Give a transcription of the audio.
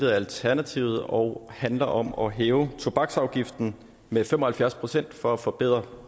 af alternativet og handler om at hæve tobaksafgiften med fem og halvfjerds procent for at forbedre